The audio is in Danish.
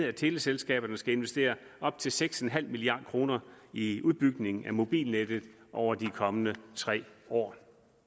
at teleselskaberne skal investere op til seks en halv milliard kroner i udbygning af mobilnettet over de kommende tre år